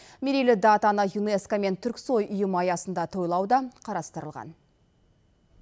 мерейлі датаны юнеско мен түрксой ұйымы аясында тойлау да қарастырылған